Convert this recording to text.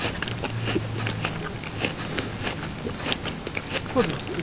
E qual que foi o que o senhor mais se emocionou?odos, ãh...